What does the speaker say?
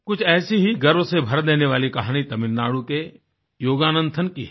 कुछ ऐसी ही गर्व से भर देने वाली कहानी तमिलनाडु के योगानंथन की है